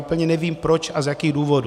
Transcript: Úplně nevím proč a z jakých důvodů.